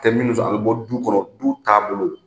Tɛ minnu fɛ a bɔ du kɔnɔ du taabolo